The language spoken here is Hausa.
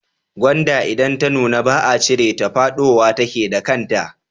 Gwanda idan ta nuna ba a cire ta ba fadowa take da kanta.